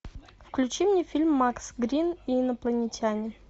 включи мне фильм макс грин и инопланетяне